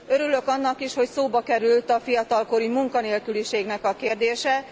Örülök annak is, hogy szóba került a fiatalkori munkanélküliség kérdése.